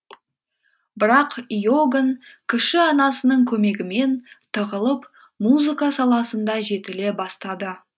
бірақ иоганн кіші анасының көмегімен тығылып музыка саласында жетіле бастады